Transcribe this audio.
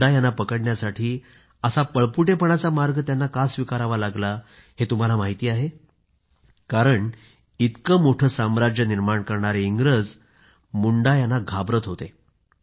मुंडा यांना पकडण्यासाठी असा पळपुटेपणाचा मार्ग इंग्रजांना का स्वीकारावा लागला हे तुम्हाला माहिती आहे का कारण इतकं मोठं साम्राज्य निर्माण करणारे इंग्रजी मुंडा यांना घाबरत होते